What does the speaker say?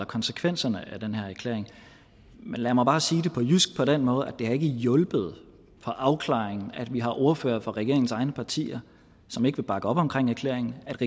konsekvenserne af den her erklæring men lad mig bare sige det på jysk på den måde at det ikke har hjulpet på afklaringen at vi har ordførere fra regeringens egne partier som ikke vil bakke op om erklæringen at